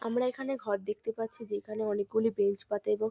আমরা এখানে ঘর দেখতে পাচ্ছি যেখানে অনেকগুলি বেঞ্চ পাতা এবং --